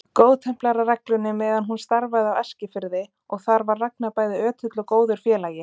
Góðtemplarareglunni meðan hún starfaði á Eskifirði og þar var Ragnar bæði ötull og góður félagi.